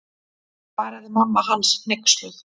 Svaraði mamma hans hneyksluð.